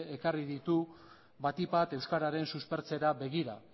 ekarri ditu batik bat euskararen suspertzera begira